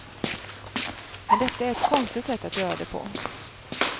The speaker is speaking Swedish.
Men detta är ett konstigt sätt att göra det på.